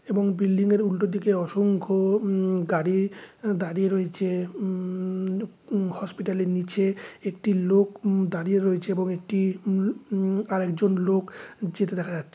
এবং বিল্ডিং -এর উল্টো দিকে অসংখ্য উ গাড়ি দাঁড়িয়ে রয়েছে। ওম ওম হসপিটালের নিচে একটি লোক উ দাঁড়িয়ে রয়েছে এবং একটি ওম ওম আরেকজন লোক যেতে দেখা যাচ্ছে।